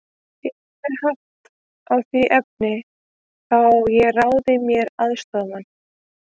Hefði ég haft á því efni, þá hefði ég ráðið mér aðstoðarmann.